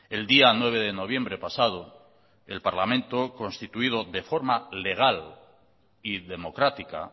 el día nueve de noviembre pasado el parlamento constituido de forma legal y democrática